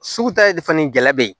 Sugu ta ye fani gɛlɛya be yen